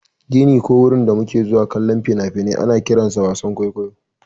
Gini ko wurin da muke zuwa kallon fina-finai ana kiransa wasan kwaikwayo